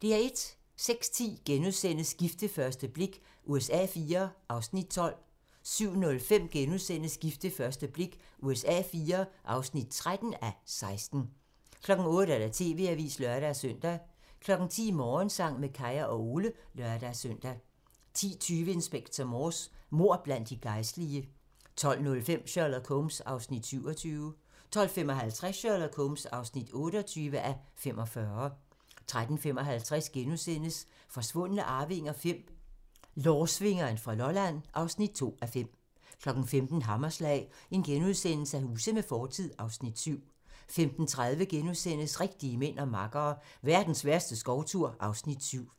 06:10: Gift ved første blik USA IV (12:16)* 07:05: Gift ved første blik USA IV (13:16)* 08:00: TV-avisen (lør-søn) 10:00: Morgensang med Kaya og Ole (lør-søn) 10:20: Inspector Morse: Mord blandt de gejstlige 12:05: Sherlock Holmes (27:45) 12:55: Sherlock Holmes (28:45) 13:55: Forsvundne arvinger V: Lårsvingeren fra Lolland (2:5)* 15:00: Hammerslag - Huse med fortid (Afs. 7)* 15:30: Rigtige mænd og makkere - Verdens værste skovtur (Afs. 7)*